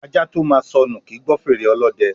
Ajá tó máa sọnù, kì í gbọ́ fèrè ọlọ́dẹ.